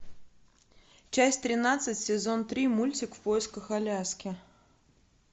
часть тринадцать сезон три мультик в поисках аляски